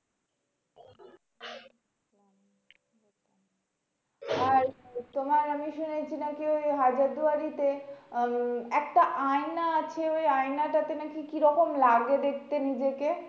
আর তোমার আমি শুনেছি নাকি? ওই হাজারদুয়ারিতে উম একটা আয়না আছে ওই আয়নাটাতে নাকি রকম লাগে দেখতে নিজেকে?